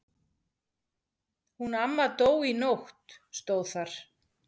Hún amma dó í nótt stóð þar.